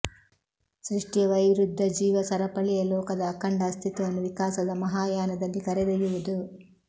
ಸೃಷ್ಠಿಯ ವೈರುಧ್ಯ ಜೀವ ಸರಪಳಿಯೇ ಲೋಕದ ಅಖಂಡ ಅಸ್ತಿತ್ವವನ್ನು ವಿಕಾಸದ ಮಹಾಯಾನದಲ್ಲಿ ಕರೆದೊಯ್ಯುವುದು